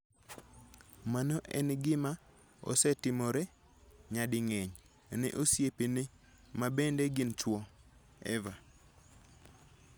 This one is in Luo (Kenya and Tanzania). Mano en gima osetimore nyading'eny ne osiepene ma bende gin chwo. Eva